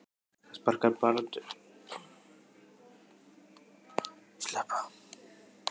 Það sparkar barn undir þind mína.